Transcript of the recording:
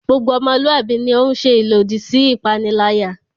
Gbogbo ọmọluwạbi ni o ń ṣe ilodi si ipanilaya